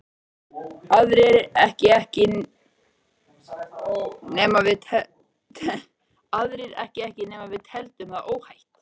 Aðrir ekki ekki nema við teldum það óhætt.